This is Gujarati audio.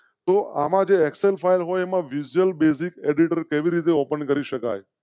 તો આમાં જે excel file હોય તેમાં જે visual basic auditor કેવી રીતે ઓપન કરી શકાય?